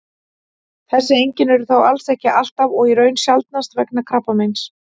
þessi einkenni eru þó alls ekki alltaf og í raun sjaldnast vegna krabbameins